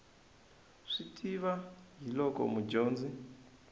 swi tiva hi loko mudyonzi